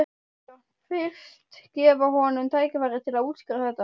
Sveinbjörn fyrst, gefa honum tækifæri til að útskýra þetta.